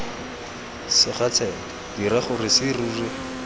sega tsebe dira gore serori